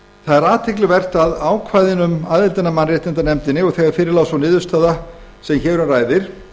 varðar það er athyglisvert að þegar fyrir lá sú niðurstaða sem hér um ræðir